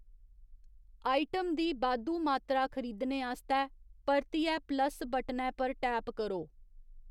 Item दी बाद्धू मात्तरा खरीदने आस्तै परतियै प्लस बटनै पर टैप करो।